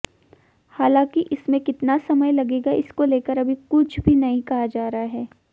हालांकि इसमें कितना समय लगेगा इसको लेकर अभी कुछ भी नहीं कहा जा रहा है